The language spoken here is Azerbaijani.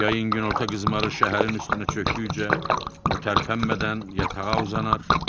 Yayın günorta qızmarı şəhərin üstünə çöktükcə o tərpənmədən yatağa uzanar.